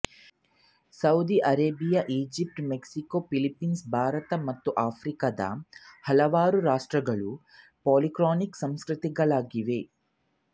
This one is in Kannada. Saudi Arabia Egypt Mexico Philippines Bharat ಮತ್ತು ಆಫ್ರಿಕಾದ ಹಲವಾರು ರಾಷ್ಟ್ರಗಳು ಪಾಲಿಕ್ರಾನಿಕ್ ಸಂಸ್ಕೃತಿಗಳಾಗಿವೆ